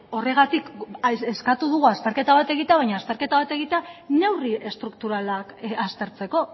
horregatik eskatu dugu azterketa bat egitea baina azterketa bat egitea neurri estrukturalak aztertzeko